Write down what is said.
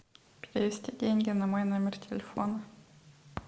перевести деньги на мой номер телефона